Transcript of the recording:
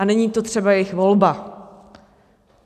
A není to třeba jejich volba.